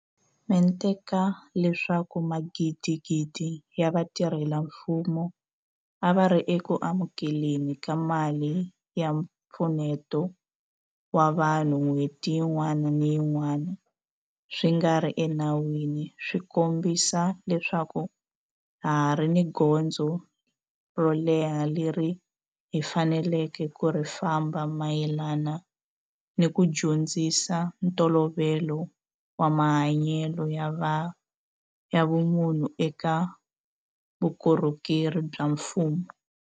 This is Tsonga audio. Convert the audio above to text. Mente ka leswaku magidigidi ya vatirhela mfumo a va ri eku amukele ni ka mali ya mpfuneto wa vanhu n'hweti yin'wana ni yin'wana swi nga ri enawini swi kombisa leswaku ha ha ri ni gondzo ro leha leri hi faneleke ku ri famba mayelana ni ku dyondzisa ntolovelo wa mahanyelo ya vumunhu eka vukorhokeri bya mfumo.